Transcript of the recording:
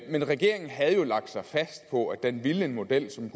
men regeringen havde lagt sig fast på at den ville en model som